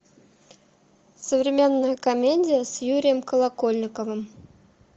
современная комедия с юрием колокольниковым